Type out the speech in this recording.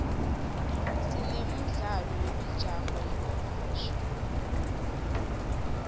sine mdlalo wemijaho yemahhashi